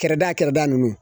Kɛrada Kɛrada nunnu